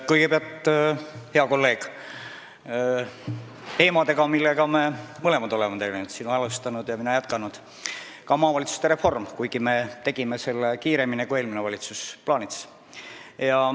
Kõigepealt, hea kolleeg, ka maavalitsuste reform on teema, millega me mõlemad oleme tegelenud – sina alustanud ja mina jätkanud –, kuigi meie tegime selle teoks kiiremini, kui eelmine valitsus plaanis.